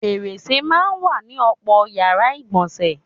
Fèrèsè máa ń wà ní ò̩pò̩ yàrá ìgbò̩nsè̩.